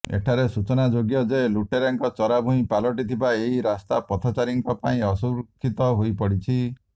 ଏଠାରେ ସୂଚନା ଯୋଗ୍ୟଯେ ଲୁଟେରାଙ୍କ ଚରାଭୁଇଁ ପାଲଟିଥିବା ଏହି ରାସ୍ତା ପଥଚାରୀଙ୍କ ପାଇଁ ଅସୁରକ୍ଷିତ ହୋଇପଡିଛି